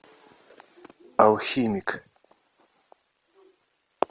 алхимик